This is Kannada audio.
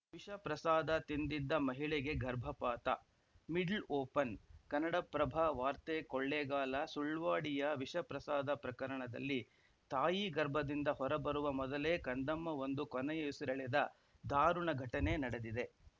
ವಿಷ ಪ್ರಸಾದ ತಿಂದಿದ್ದ ಮಹಿಳೆಗೆ ಗರ್ಭಪಾತ ಮಿಡ್ಲ್‌ ಓಪನ್‌ ಕನ್ನಡಪ್ರಭ ವಾರ್ತೆ ಕೊಳ್ಳೇಗಾಲ ಸುಳ್ವಾಡಿಯ ವಿಷ ಪ್ರಸಾದ ಪ್ರಕರಣದಲ್ಲಿ ತಾಯಿ ಗರ್ಭದಿಂದ ಹೊರಬರುವ ಮೊದಲೇ ಕಂದಮ್ಮವೊಂದು ಕೊನೆಯುಸಿರೆಳೆದ ಧಾರುಣ ಘಟನೆ ನಡೆದಿದೆ